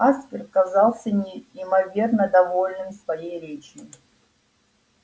аспер казался неимоверно довольным своей речью